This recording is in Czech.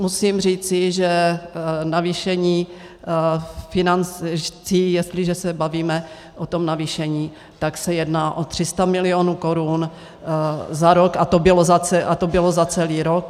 Musím říci, že navýšení financí, jestliže se bavíme o tom navýšení, tak se jedná o 300 mil. korun za rok, a to bylo za celý rok.